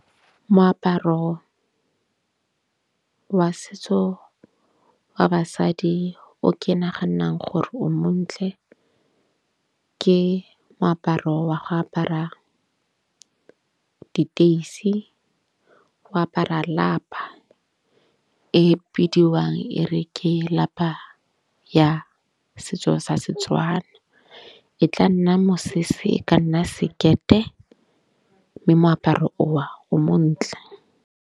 Moaparo wa setso wa basadi o ke naganang gore o montle, ke moaparo wa go apara diteisi. Go apara lapa e bidiwang e re ke lapa ya setso sa Setswana. E tla nna mosese e ka nna sekete mme moaparo o o montle.